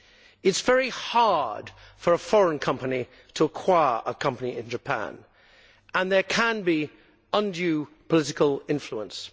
It is very hard for a foreign company to acquire a company in Japan, and there can be undue political influence.